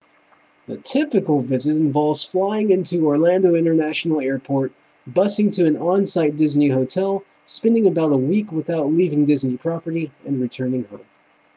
the typical visit involves flying into orlando international airport busing to an on-site disney hotel spending about a week without leaving disney property and returning home